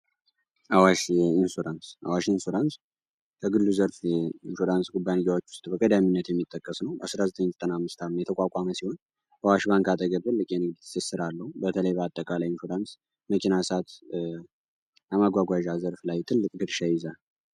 አዋሽ ኢንሹራንስ አዋሽ ኢንሹራንስ ከግል ዘርፍ የ ኢንሹራንስ ጉባንጊያዎች ውስጥ በቀዳሚነት የሚጠቀስ ነው። በ1995 የተቋቋመ ሲሆን፤ በአዋሽ ባንክ አጠገብ ትልቅ የንግድ ስራ አለው። በተለይ በአጠቃላይ ኢንሹራንስ መኪና፣ እሳት፣ ማጓጓዣ ዘርፍ ላይ ትልቅ ግድሻ ይይዛል።